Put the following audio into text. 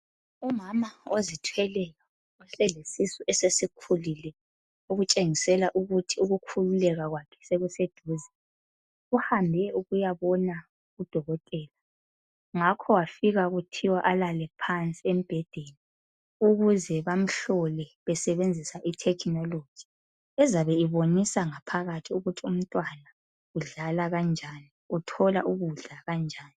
Umama ozithweleyo selesisu esesikhulile okutshengisela ukuthi ukukhululeka kwakhe sokuseduze . Uhambe ukuyabona uDokotela ngakho wafika kuthiwa alale phansi embhedeni ukuze bamhlole besebenzisa itechnology ezabe ibonisa ngaphakathi ukuthi umntwana udlala kanjani .Uthola ukudla kanjani.